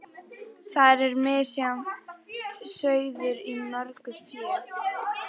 Og þar er misjafn sauður í mörgu fé.